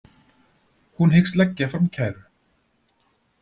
Hún hyggst leggja fram kæru